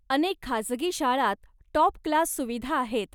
अनेक खासगी शाळांत टाॅप क्लास सुविधा आहेत.